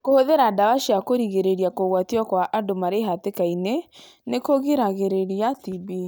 Kũhũthĩra ndawa cia kũrigĩrĩria kũgwatio kwa andũ marĩ hatĩkainĩ nĩ kũgiragĩrĩria TB.